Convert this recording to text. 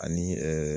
Ani